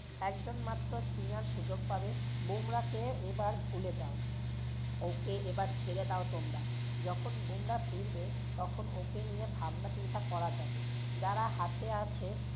একজন মাত্র spinner সুযোগ পাবে। বুমরাহ কে এবার ভুলে যাও ওকে এবার ছেড়ে দাও তোমরা। যখন বুমরাহ ফিরবে তখন ওকে নিয়ে ভাবনাচিন্তা করা যাবে।